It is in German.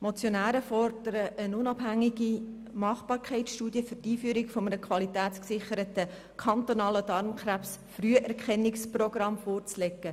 Die Motionäre fordern, eine unabhängige Machbarkeitsstudie für die Einführung eines qualitätsgesicherten kantonalen Darmkrebsfrüherkennungsprogramms vorzulegen.